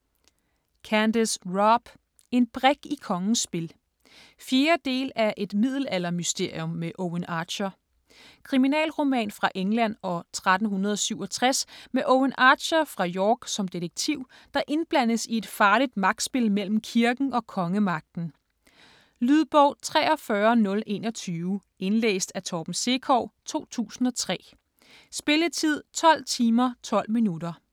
Robb, Candace: En brik i kongens spil 4. del af Et middelaldermysterium med Owen Archer. Kriminalroman fra England år 1367 med Owen Archer fra York som detektiv, der indblandes i et farligt magtspil mellem kirken og kongemagten. Lydbog 43021 Indlæst af Torben Sekov, 2003. Spilletid: 12 timer, 12 minutter.